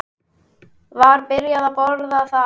Var byrjað að bora þar